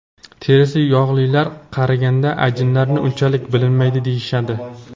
Terisi yog‘lilar qariganda ajinlari unchalik bilinmaydi deyishadi.